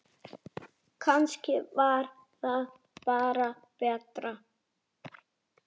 Ég stend við það.